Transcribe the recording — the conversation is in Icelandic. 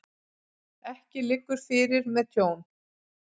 Ekki liggur fyrir með tjón